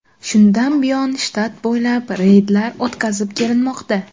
Shundan buyon shtat bo‘ylab reydlar o‘tkazib kelinmoqda.